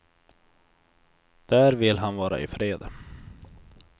Där vill han vara i fred.